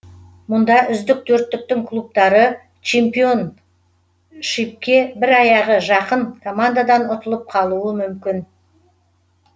мұнда үздік төрттіктің клубтары чемпионшипке бір аяғы жақын командадан ұтылып қалуы мүмкін